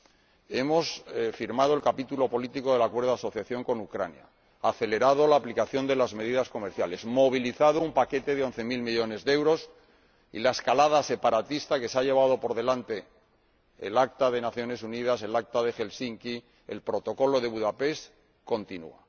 Por otra parte, hemos firmado el capítulo político del Acuerdo de Asociación con Ucrania, acelerado la aplicación de las medidas comerciales y movilizado un paquete de 11000 millones de euros sin embargo, la escalada separatista, que se ha llevado por delante el Acta de las Naciones Unidas, el Acta de Helsinki y el Protocolo de Budapest, continúa.